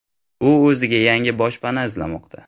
U o‘ziga yangi boshpana izlamoqda.